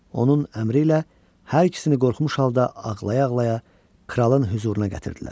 Onun əmri ilə hər ikisini qorxmuş halda ağlaya-ağlaya kralın hüzuruna gətirdilər.